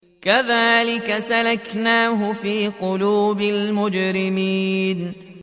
كَذَٰلِكَ سَلَكْنَاهُ فِي قُلُوبِ الْمُجْرِمِينَ